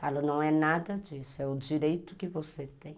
Falo, não é nada disso, é o direito que você tem.